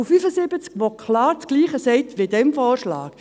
Das ist Artikel 75, der klar dasselbe sagt, wie bei diesem Vorschlag.